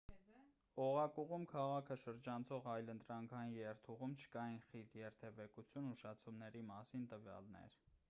օղակուղում քաղաքը շրջանցող այլընտրանքային երթուղում չկային խիտ երթևեկության ուշացումների մասին տվյալներ